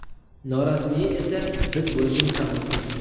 Norasmiyi esa biz bo‘lishimiz ham mumkin.